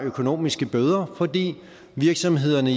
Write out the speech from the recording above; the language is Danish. bøder fordi virksomhederne